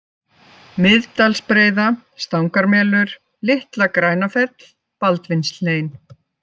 Miðdalsbreiða, Stangarmelur, Litla-Grænafell, Baldvinshlein